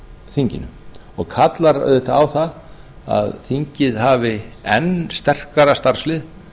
þinginu og kallar auðvitað á það að þingið hafi enn sterkara starfslið